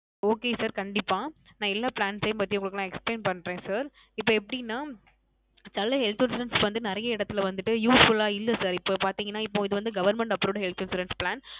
Okay sir கண்டிப்பா நான் எல்லா Plans யும் பத்தி நான் உங்களுக்கு Explain பண்ணுறேன் Sir இப்போ எப்படின நல்ல Health Insurance வந்து நிறைய இடத்துலயும் வந்துட்டு Useful ல இல்ல sir இப்போ பாத்திங்கான இப்போ இது வந்து Government Approved Health Insurance Plan